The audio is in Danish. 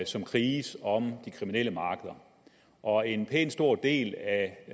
som kriges om de kriminelle markeder og en pænt stor del af